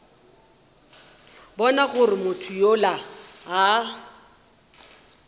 bona gore motho yola a